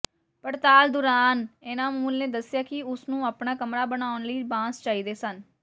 ਪੜਤਾਲ ਦੌਰਾਨ ਇਨਾਮੁਲ ਨੇ ਦੱਸਿਆ ਕਿ ਉਸ ਨੂੰ ਆਪਣਾ ਕਮਰਾ ਬਣਾਉਣ ਲਈ ਬਾਂਸ ਚਾਹੀਦੇ ਸਨ